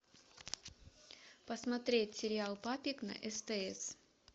посмотреть сериал папик на стс